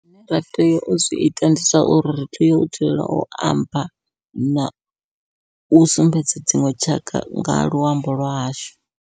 Zwine ra tea u zwi ita ndi zwa uri, ri tea u dzulela u amba nau sumbedza dziṅwe tshaka nga luambo lwa hashu.